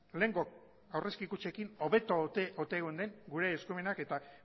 lehengo aurrezki kutxekin hobeto ote geunden gure eskumenak eta